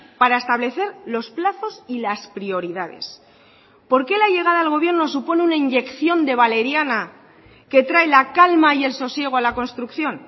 para establecer los plazos y las prioridades por qué la llegada al gobierno supone una inyección de valeriana que trae la calma y el sosiego a la construcción